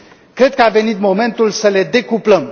Cred că a venit momentul să le decuplăm.